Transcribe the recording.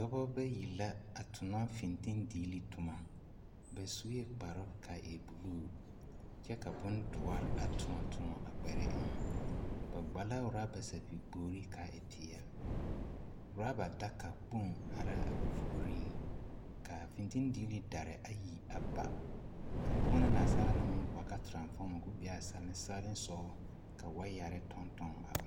Dɔbɔ bayi la a tonɔ fintindiili tomɔ, ba sue kparoŋ k'a e buluu kyɛ ka bondoɔre a tõɔ tõɔ a kparɛɛ eŋɛ, ba kpa la raba sapigi kpogiri k'a e peɛle, raba daka kpoŋ ara a ba puoriŋ k'a fintindiili daare ayi a ba ka bonna naasaalaa naŋ maŋ boɔlɔ ka toranfɔma k'o be a salensaalensɔɔ ka wayare tɔɔtɔɔ a